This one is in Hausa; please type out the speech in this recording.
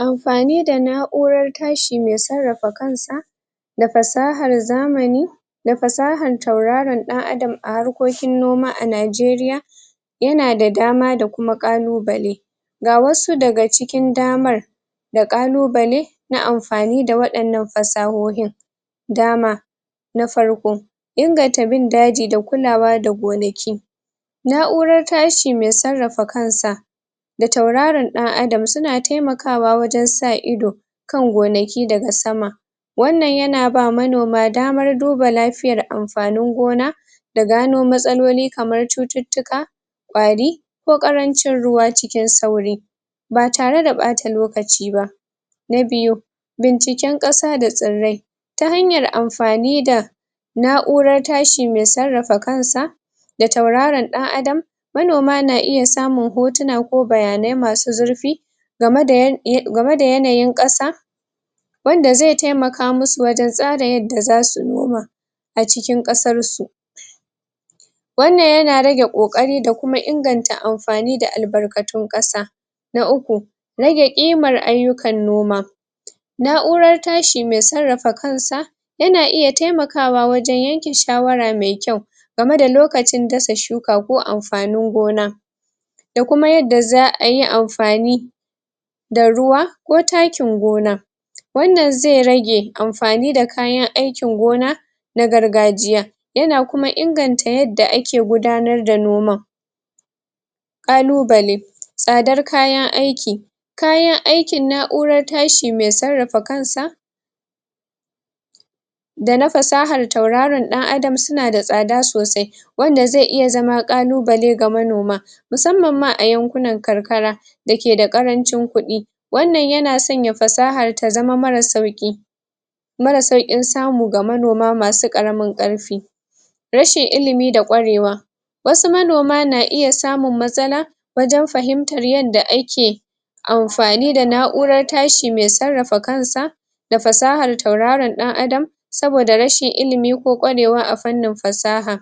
Amfani da na'urar tashi, mai tsarafa kan sa da fasahar zamani da fasahar tauraron dan adam a harkokin noma a Nigeria ya na da dama da kuma qalubale ga wasu da ga cikin damar da qalubale na amfani da wadannan fasahohin dama na farko inganta bin daji da kulawa da gonaki na'urar tashi mai tsarafa kan sa da tauraran dan adam, su na taimakawa wajen sa ido kan gonaki da ga sama wannan ya na ba manoma damar duba lafiyar amfanin gona da gano matsaloli kamar cututuka kwari ko qarancin ruwa cikin sauri ba tare da bata lokaci ba na biyu binciken qasa da tsirai ta hanyar amfani da na'urar tashi mai tsarafa kan sa da tauraran dan adam manoma na iya samun hotuna ko bayanai masu zirfi game da, game da yanayin qasa wanda zai taimaka masu wajen tsara yada za su noma a cikin qasar su wannan ya na rage kokari da kuma inganta amfani da albarkatun qasa na uku rage imar ayukan noma na'urar tashi mai tsarafa kan sa ya na iya taimakawa wajen yanke shawara mai kyau game da lokacin dasa cuka ko amfanin gona da kuma yada za ayi amfani da ruwa ko takin gona wannan zai rage amfani da kayan aikin gona na gargajiya ya na kuma inganta yada a ke gudanar da noman qalubale tsadar kayan aiki kayan aikin na'urar tashi mai tsarafa kan sa da na fasahar tauraran dan adam, su na tsada sosai wannan zai iya zama qalubale ga manoma masamman ma a yankunan karkara da ke da karancin kudi wannan ya na sanya fasahar ta zama mara sauki mara saukin samu ga manoma masu karamin karfi rashin ilimi da kwarewa wasu manoma na iya samun matsala wajen fahimtar yada ake amfani da na'urar tashi mai tsarafa kan sa da fasahar tauraran dan adam saboda rashin ilimi ko kwarewan a fannin fasaha